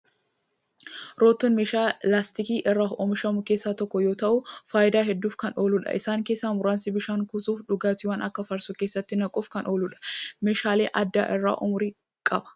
Roottoon meeshaa laastikii irraa oomishamu keessaa tokko yoo ta'u, faayidaa hedduuf kan ooludha. Isaan keessaa muraasni: bishaan kuusuuf, dhugaatiiwwan akka farsoo keessatti naquuf kan ooludha. Meeshaalee aadaa irra umurii qaba.